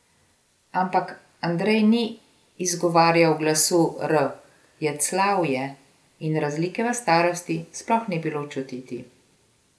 Ampak Andrej ni izgovarjal glasu r, jecljal je, in razlike v starosti sploh ni bilo čutiti.